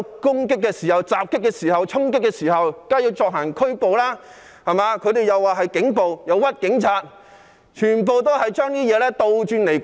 警員在受到襲擊及衝擊時，當然要進行拘捕，但他們卻將這說成是警暴，誣衊警員，把事情全部倒轉來說。